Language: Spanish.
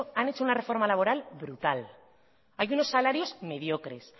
han hecho una reforma laboral brutal hay unos salarios mediocres